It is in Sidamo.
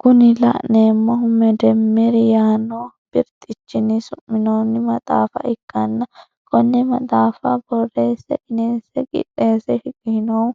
Kuni la'neemohu meddemmeri yaano birxichini su'minoonni maxaafa ikkanna konne maxaafa boreesse qineesse qidheese shiqishinohu